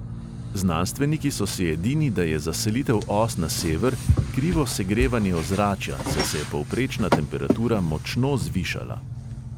Znanstveniki so si edini, da je za selitev os na sever krivo segrevanje ozračja, saj se je povprečna temperatura močno zvišala.